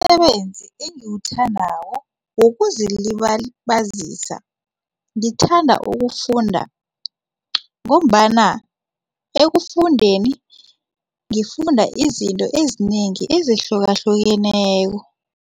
Umsebenzi engiwuthandako wokuzilibazisa ngithanda ukufunda ngombana ekufundeni ngifunda izinto ezinengi ezihlukahlukeneko.